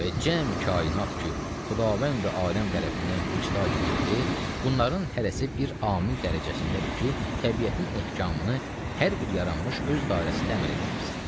Və cəmi kainat ki, Xudavəndi aləm tərəfindən vicda gəlibdir, bunların hərəsi bir amil dərəcəsindədir ki, təbiətin ehkamını hər bir yaranmış öz dairəsində əmələ gətirsin.